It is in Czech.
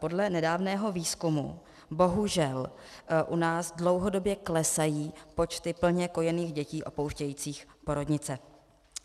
Podle nedávného výzkumu bohužel u nás dlouhodobě klesají počty plně kojených dětí opouštějících porodnice.